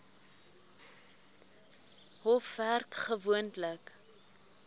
hof werk gewoonlik